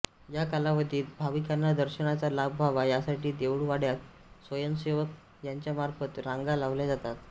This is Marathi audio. या कालावधीत भाविकांना दर्शनाचा लाभ व्हावा यासाठी देऊळवाड्यात स्वयंसेवक यांच्यामार्फत रांगा लावल्या जातात